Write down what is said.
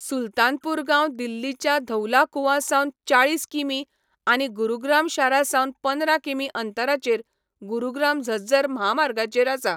सुलतानपूर गांव दिल्लीच्या धौला कुआं सावन चाळीस किमी आनी गुरुग्राम शारा सावन पंदरा किमी अंतराचेर गुरुग्राम झज्जर म्हामार्गाचेर आसा.